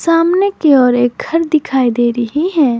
सामने की ओर एक घर दिखाई दे रही है।